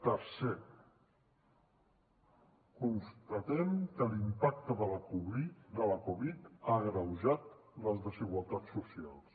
tercer constatem que l’impacte de la covid dinou ha agreujat les desigualtats socials